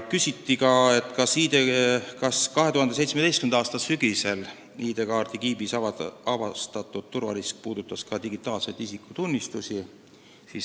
Küsiti veel, kas 2017. aasta sügisel ID-kaardi kiibis avastatud turvarisk puudutas ka digitaalseid isikutunnistusi.